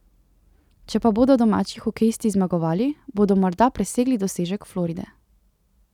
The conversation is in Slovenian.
Če pa bodo domači hokejisti zmagovali, bodo morda presegli dosežek Floride.